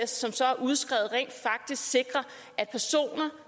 som så er udskrevet rent faktisk sikrer at personer